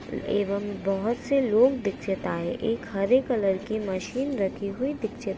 एवम बोहत से लोग दिक्षित आहे एक हरे रंग की मशीन राखी हुई दिक्षित --